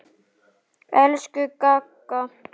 Elsku Gagga.